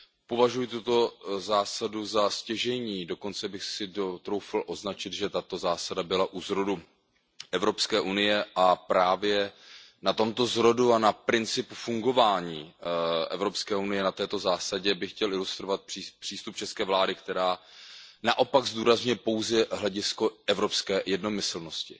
Považuji tuto zásadu za stěžejní, dokonce bych si troufl označit, že tato zásada byla u zrodu EU, a právě na tomto zrodu a na principu fungování EU, na této zásadě bych chtěl ilustrovat přístup české vlády, která naopak zdůrazňuje pouze hledisko evropské jednomyslnosti